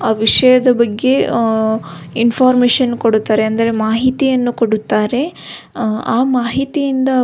ಆ ವಿಷಯದ ಬಗ್ಗೆ ಇನ್ಫೋರ್ಮೇಷನ್ ಕೊಡುತ್ತಾರೆ ಅಂದರೆ ಮಾಹಿತಿಯನ್ನು ಕೊಡುತ್ತಾರೆ ಆ ಮಾಹಿತಿಯಿಂದ --